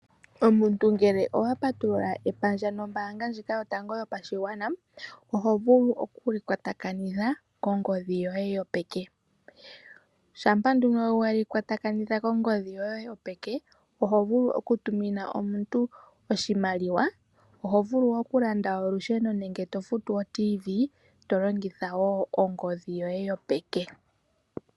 Omuntu ngele owa patulula epandja lyombaanga yotango yopashigwana, oho vulu oku li kwatakanitha kongodhi yoye yopeke. Shampa nduno we li kwatakanitha kongodhi yoye yopeke nena oto vulu okutumina omuntu oshimaliwa, okulanda olusheno nenge okufuta oRadio yomuzizimbe to longitha ongodhi yoye yopeke.